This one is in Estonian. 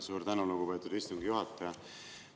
Suur tänu, lugupeetud istungi juhataja!